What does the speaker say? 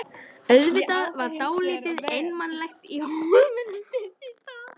Auðvitað var dálítið einmanalegt í Hólminum fyrst í stað.